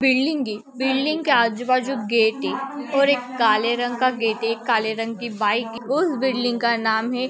Building है building के आजूबाजू गेट है और काले रंग का गेट है काले रंग की बाइक उसे बिल्डिंग का नाम है।